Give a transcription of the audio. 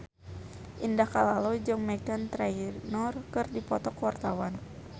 Indah Kalalo jeung Meghan Trainor keur dipoto ku wartawan